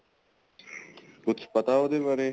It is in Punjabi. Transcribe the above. ਕੁੱਝ ਪਤਾ ਉਹਦੇ ਬਾਰੇ